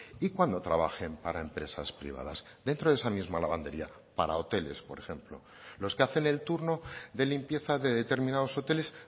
y cuando trabajen para empresas privadas dentro de esa misma lavandería para hoteles por ejemplo los que hacen el turno de limpieza de determinados hoteles